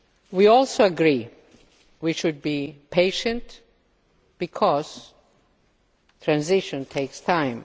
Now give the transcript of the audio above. We also agree we should be patient because transition takes time.